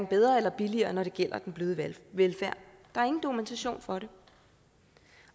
bedre eller billigere når det gælder den bløde velfærd der er ingen dokumentation for det